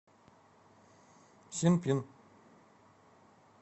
синпин